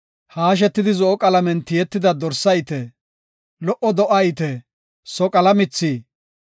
haashetidi zo7o qalamen tiyetida dorsa ite, lo77o do7a ite, soqala mithi,